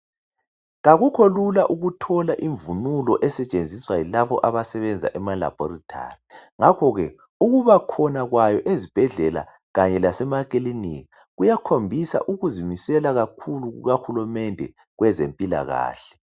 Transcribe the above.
Kakukho lula ukuthola imvunulo esetshenziswa yilabo abasenza ema laboratory ngakho ke ukubakhona kwayo ezibhedlela kanye lasemaklinika kuyakhombisa ukuzimisela kakhulu kukahulumende wezempilahle